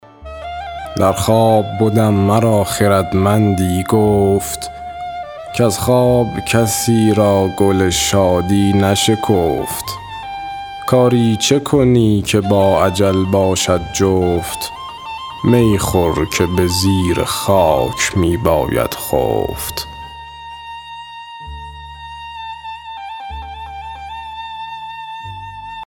در خواب بدم مرا خردمندی گفت کز خواب کسی را گل شادی نشکفت کاری چه کنی که با اجل باشد جفت می خور که به زیر خاک می باید خفت